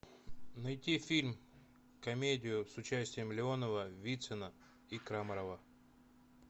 найти фильм комедию с участием леонова вицина и крамарова